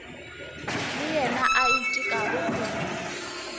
le yena a itekago kudu